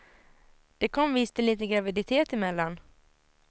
Det kom visst en liten graviditet emellan.